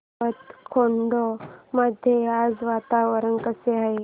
जैताखेडा मध्ये आज वातावरण कसे आहे